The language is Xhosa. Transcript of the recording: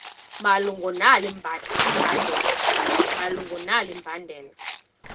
malunga nalo mbandela